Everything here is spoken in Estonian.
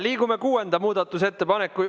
Liigume kuuenda muudatusettepaneku ...